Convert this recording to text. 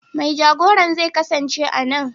Mai jagoran zai kasance a nan.